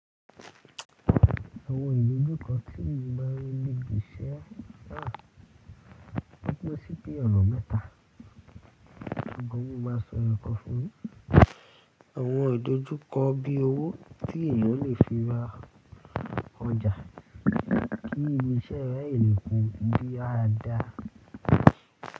Àwọn ìdojúkọ tí èmi máa ń rí ní ibiṣẹ́ ó pín sí bí ọ̀nà mẹ́ta. Ṣùgbọ́n mo máa sọ ẹyọkan fún yín. Àwọn ìdojúkọ bí i owó tí èèyàn lè fi ra ọjà kí iṣẹ́ rẹ̀ lè kú bí á dáa.